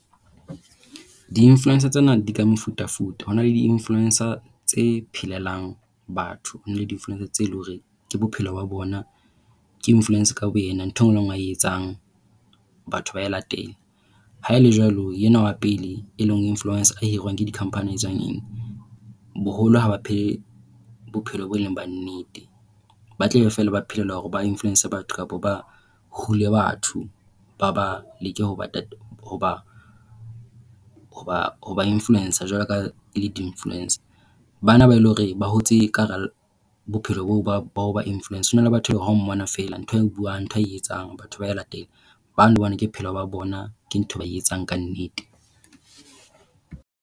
Di-influencer tsena di ka mefutafuta. Ho na le di-influencer tse phelelang batho, ho na le di-influencer tseo e leng hore ke bophelo ba bona, ke influence ka boyena. Ntho e nngwe a e etsang batho ba a e latela. Haele jwalo, enwa wa pele e leng influence e hirwang ke di-company a e etsang eng, boholo ha ba phele bophelo boo e leng ba nnete. Ba tlabe feela ba phelela hore ba influence batho kapa ba hule batho ba ba leke hoba hoba hoba hoba influence jwalo ka ha e le di-influencer. Bana ba eleng hore ba hotse ka hara bophelo ba boo ba ho ba influence, ho na le batho bao ha o mmona fela ntho a e buang ntho a e etsang batho ba e latela. Bao bona ke bophelo ba bona, ke ntho eo ba e etsang ka nnete.